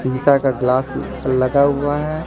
शीशा का ग्लास लगा हुआ है।